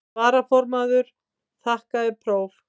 Varaformaður þakkaði próf.